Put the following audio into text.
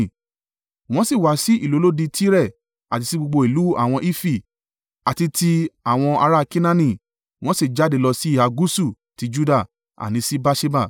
Wọ́n sì wá sí ìlú olódi Tire, àti sí gbogbo ìlú àwọn Hifi, àti ti àwọn ará Kenaani, wọ́n sì jáde lọ síhà gúúsù ti Juda, àní sí Beerṣeba.